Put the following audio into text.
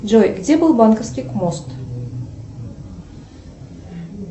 джой где был банковский мост